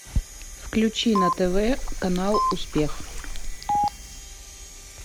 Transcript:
включи на тв канал успех